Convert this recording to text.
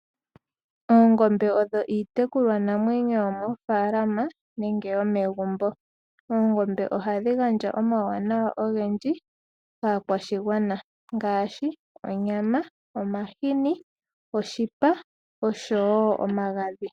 Oongombe odho iitekulwanamwenyo yomoofala nenge yomegumbo. Oongombe ohadhi gandja omauwanawa ogendji ngaashi onyama, omahini, oshipa osho woo omagadhi.